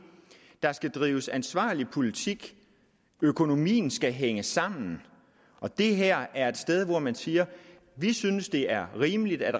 der skal drives ansvarlig politik økonomien skal hænge sammen og det her er et sted hvor man siger vi synes det er rimeligt at